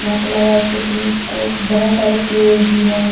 यहाँ पे लग रहा है जैसे की को बहुत सारे पेड़ भी हैं।